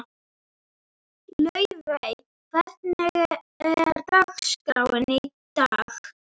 Laufey, hvernig er dagskráin í dag?